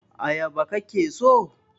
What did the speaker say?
ayaba ka ke so!